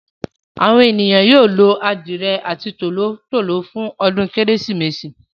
Àwọn ènìyàn yóò lo adìye àti tòló-tòló fún ọdún kérésìmesì.